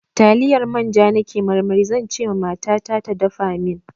Taliyar manja na ke marmari, zan ce ma mata ta da dafa min.